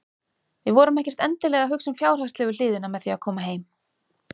Við vorum ekkert endilega að hugsa um fjárhagslegu hliðina með því að koma heim.